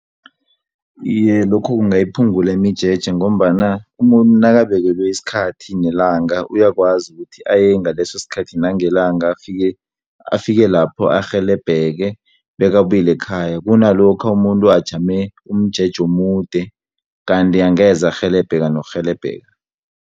Iye lokho kungayiphungula imijeje, ngombana umuntu nakabekelwe isikhathi nelanga, uyakwazi ukuthi ayengaleso sikhathi nangelanga, afike lapho arhelebheke, bekabuyele ekhaya. Kunalokha umuntu ajame umjeje omude, kanti angeze arhelebheka nokurhelebheka.